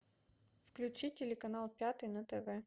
включи телеканал пятый на тв